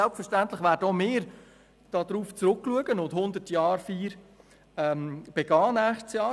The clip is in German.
Selbstverständlich werden auch wir darauf zurückblicken und nächstes Jahr die Hundertjahrfeier begehen.